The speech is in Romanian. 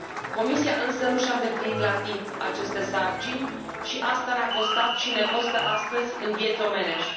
Comisia însă nu și a îndeplinit la timp aceste sarcini și asta ne a costat și ne costă astăzi în vieți omenești.